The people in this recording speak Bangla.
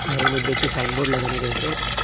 ঘরের মধ্যে একটি সাইনবোর্ড লাগানো রয়েসে।